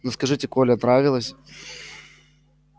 ну скажите коля нравилась